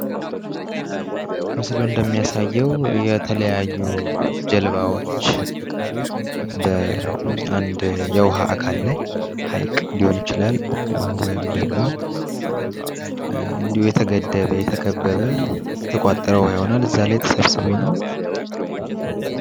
ምስሉ እንደሚያሳየ የተለያዩ ጀልባዎች በአንድ የዉሃ አካል ላይ ህይቅ ሊሆን ይችላል ወይም ደግሞ እንዲሁ የተገደበ ፣ የተከበበ፣ የተቋጠረ ዉሃ ይሆናል። ከዚያ ላይ ተሰብስቦ ነው።